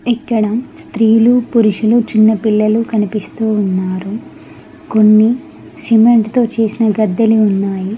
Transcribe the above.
ఇక్కడ స్త్రీలు పురుషులు చిన్నపిల్లలు కనిపిస్తూ ఉన్నారు కొన్ని సిమెంట్ తో చేసిన గద్దెలు ఉన్నాయి.